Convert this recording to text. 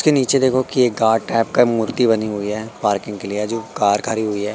के नीचे देखो कि एक गाड टाइप का मूर्ति बनी हुई है। पार्किंग के लिए जो कार खरी हुई है।